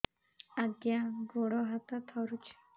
ଆଜ୍ଞା ଗୋଡ଼ ହାତ ଥରୁଛି